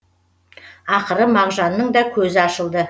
ақыры мағжанның да көзі ашылды